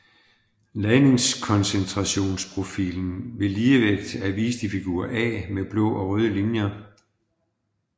Ladningskoncentrationsprofilen ved ligevægt er vist i figur A med blå og røde linjer